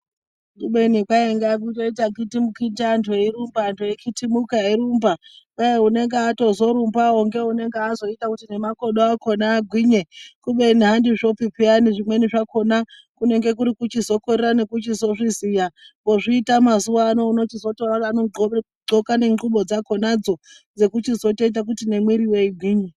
Kubeni kwainga kutoita khitimukhiti antu eirumba antu eikhitumuka eirumba kwai unenge azotorumbawo ngeunonge azoita kuti nemakodo akona agwinye kubeni andizvopi peyani zvimweni zvakona kunenge kuri kutokorera nekuchitozviziya ozviita mazuwa ano unochizotoone kuti anoqgoke nengubo dzakonadzo dzinochizotoita kuti nemwiriyo igwinye.